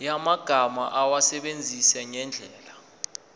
yamagama awasebenzise ngendlela